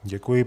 Děkuji.